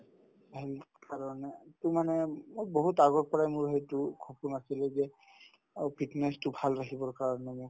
সেইকাৰণে এইটো মানে মোৰ বহুত আগৰ পৰায়ে মোৰ সেইটো সপোন আছিলে যে আৰু fitness তো ভাল ৰাখিব কাৰণে মোৰ